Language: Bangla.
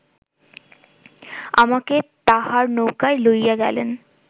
আমাকে তাঁহার নৌকায় লইয়া গেলেন